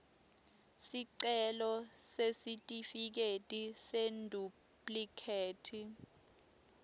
sicelo sesitifiketi seduplikhethi